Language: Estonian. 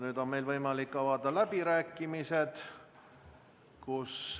Nüüd on meil võimalik avada läbirääkimised.